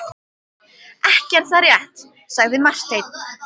Ekki er það rétt, sagði Marteinn.